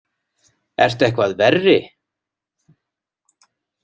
Ertu eitthvað verri?